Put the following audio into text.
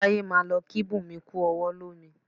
Táyé máa lọ kí Bunmi kú ọwọ́ lomi